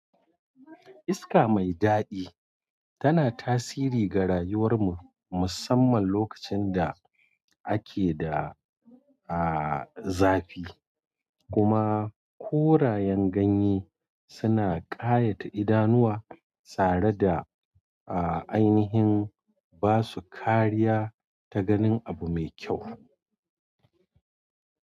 Iska mai daɗi tana tasiri ga rayuwar mu musamman lokacin da ake da aa zafi, kuma korayen ganye suna kayata idanuwa tsare da a aini yin basu kariya ta ganin abu me kyau.